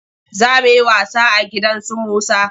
Za mu yi wasa a gidan su Musa.